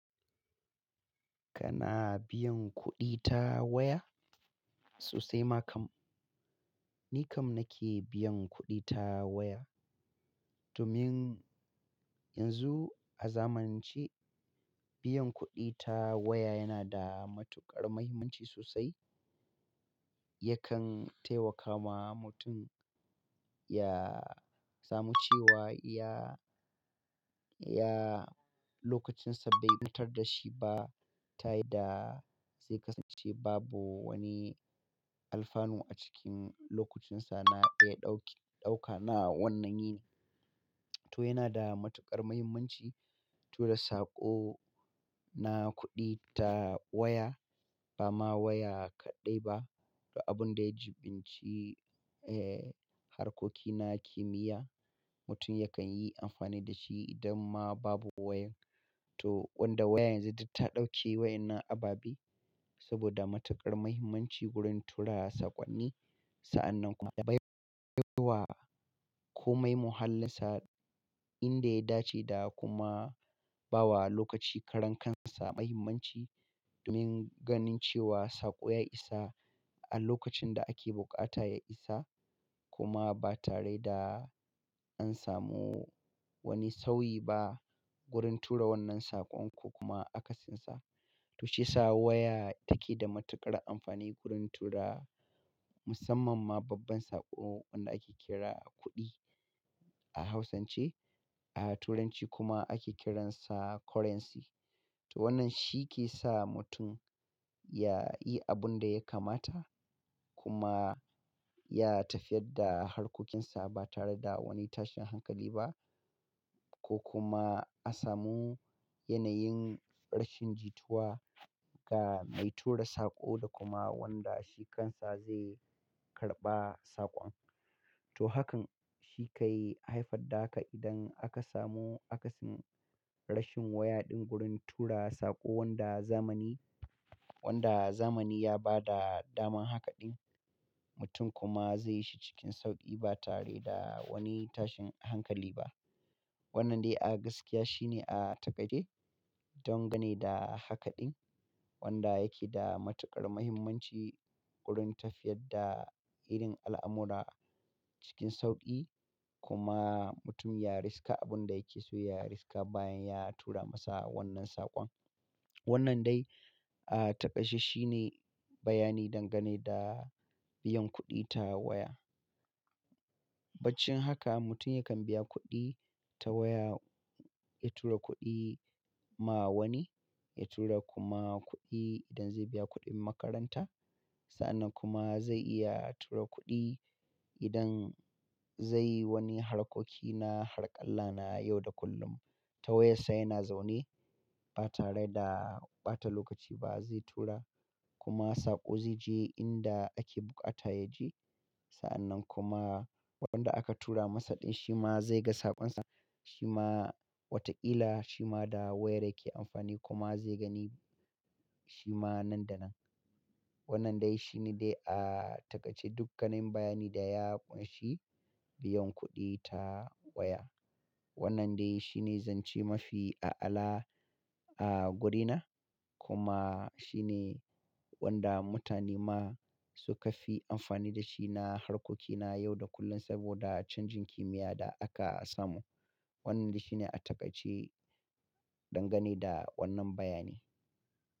Kana biyan kuɗi ta waya? Sosai ma kam. Ni kam nake biyan kuɗi ta waya. Domin yanzu a zamanance biyan kuɗi ta waya yana da matuƙar mahimmanci sosai. Yakan taimakawa mutum ya samu cewa iya, iya lokacinsa bai ɓatar da shi ba. Ta yi da zai kasance babu wani alfanu a cikin lokacinsa. Na iya ɗauki, ɗauka na wannan yi ne. To yana da matuƙar mahimmanci tura saƙo na kuɗi ta waya. Ba ma waya kaɗai ba, da abun da ya jibinci, eh, harkoki na kimiyya. Mutum yakan yi amfani da shi idan ma babu wayan. To wanda waya yanzu ta ɗauke wa'yannan ababe saboda matuƙar mahimmanci wurin tura saƙonni. Sa'annan kuma ya baiwa komai muhallinsa inda ya dace da kuma bawa lokaci karan kansa mahimmanci. Domin ganin cewa saƙo ya isa a lokacin da ake buƙata ya isa kuma ba tare da an samu wani sauyi ba wurin tura wannan saƙon ko kuma akasinsa. To shi yasa waya take da matuƙar amfani wurin tura musamman ma babban saƙo wanda ake kira kuɗi a Hausance, a Turanci kuma ake kiransa currency. To wannan shi ke sa mutum ya yi abun da ya kamata kuma ya tafiyar da harkokinsa ba tare da wani tashin hankali ba ko kuma a samu yanayin rashin jituwa ga mai tura saƙo da kuma wanda shi kansa zai karɓa saƙon. To hakan shi ka yi haifar da haka idan aka samu akasin rashin waya ɗin wurin tura saƙo wanda zamani, wanda zamani ya ba da daman haka ɗin. Mutum kuma zai yi shi cikin sauƙi ba tare da wani tashin hankali ba. Wannan dai a gaskiya shine a takaide dangane da haka ɗin wanda yake da matuƙar mahimmanci wurin tafiyar da irin al'amura cikin sauƙi kuma mutum ya riska abun da yake so, ya riska bayan ya tura masa wannan saƙon. Wannan dai a taƙaice shine bayani dangane da biyan kuɗi ta waya. Baccin haka mutum yakan biya kuɗi ta waya, ya tura kuɗi ma wani, ya tura kuma kuɗi idan zai biya kuɗin makaranta. Sa'annan kuma zai iya tura kuɗi idan zai yi wani harkoki na harƙalla na yau da kullum. Ta waya sai yana zaune ba tare da ɓata lokaci ba zai tura kuma saƙo zai je inda ake buƙata ya ji. Sa'annan kuma waɗan aka tura masa ɗin shi ma zai ga saƙonsa, shi ma wataƙila shi ma da wayar yake amfani kuma zai gani shi ma nan da nan. Wannan dai shine dai a takaice duk ganin bayani da ya ƙunshi biyan kuɗi ta waya. Wannan dai shine zance mafi a'ala a wurina kuma shi ne wanda mutane ma suka fi amfani da shi na harkoki na yau da kullun saboda canjin kimiyya da aka samu. Wannan dai shine a takaice dangane da wannan bayani.